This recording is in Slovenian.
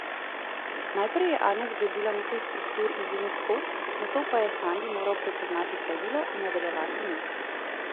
Najprej je Anja zgradila nekaj struktur iz link kock, nato pa je Sandi moral prepoznati pravilo in nadaljevati niz.